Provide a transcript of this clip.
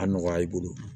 A nɔgɔya i bolo